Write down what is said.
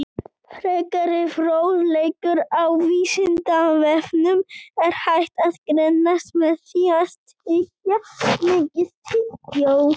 Frekari fróðleikur á Vísindavefnum: Er hægt að grennast með því að tyggja mikið tyggjó?